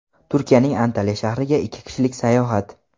Turkiyaning Antaliya shahriga ikki kishilik sayohat .